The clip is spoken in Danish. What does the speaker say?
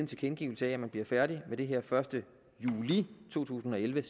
tilkendegivet at man bliver færdig med det her senest den første juli to tusind og elleve